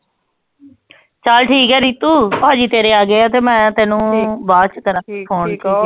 ਚਲ ਠੀਕ ਹੈ ਰੀਤੂ ਪਾਜੀ ਤੇਰੇ ਆਗਏ ਤੇ ਮੈਂ ਤੈਨੂੰ ਠੀਕ ਬਾਅਦ ਚ ਕਰਾਂਗੀ ਫੋਨ